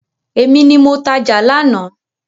Èmi ni mo tajà lánàá.